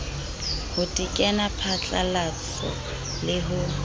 ho tekena phatlalaso le ho